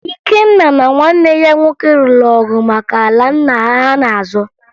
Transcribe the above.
Ikenna na nwanne ya nwoke lụrụ ọgụ maka ala nna ha ha na-azọ